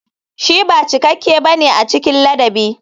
Shi ba cikakke ba ne a cikin ladabi.